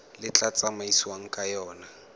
le tla tsamaisiwang ka yona